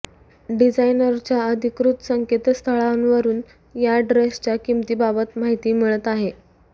डिझायनरच्या अधिकृत संकेतस्थळावरुन या ड्रेसच्या किंमतीबाबत माहिती मिळत आहे